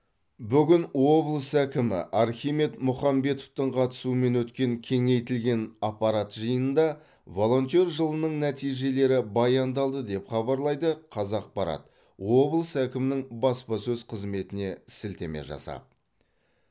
бүгін облыс әкімі архимед мұхамбетовтің қатысуымен өткен кеңейтілген аппарат жиынында волонтер жылының нәтижелері баяндалды деп хабарлайды қазақпарат облыс әкімінің баспаөз қызметіне сілтеме жасап